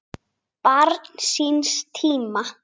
Barn síns tíma?